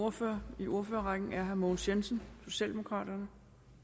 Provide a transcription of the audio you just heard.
ordfører i ordførerrækken er herre mogens jensen socialdemokraterne